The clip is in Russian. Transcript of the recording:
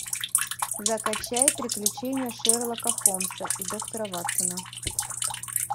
закачай приключения шерлока холмса и доктора ватсона